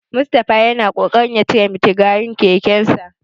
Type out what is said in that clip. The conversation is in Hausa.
Mustapha yana kokarin ya cire mitigarin kekensa.